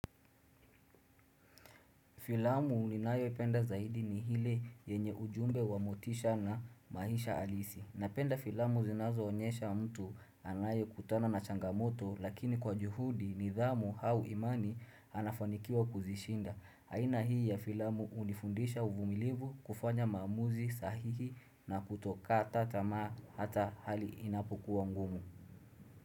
Filamu ninayoipenda zaidi ni ile yenye ujumbe wa motisha na maisha halisi. Napenda filamu zinazoonyesha mtu anaye kutana na changamoto lakini kwa juhudi nidhamu au imani anafanikiwa kuzishinda. Aina hii ya filamu hunifundisha uvumilivu kufanya maamuzi sahihi na kutokata tamaa hata hali inapokuwa ngumu.